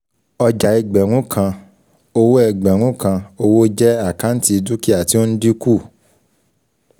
Ọjà Ẹgbẹ̀rún kan, owó ẹgbẹ̀rún kan owó jẹ àkáǹtì dúkìá tí ó ń dínkù